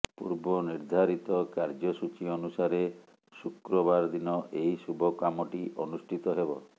ପୂର୍ବ ନିର୍ଦ୍ଧାରିତ କାର୍ଯ୍ୟସୂଚୀ ଅନୁସାରେ ଶୁକ୍ରବାର ଦିନ ଏହି ଶୁଭ କାମଟି ଅନୁଷ୍ଠିତ ହେବ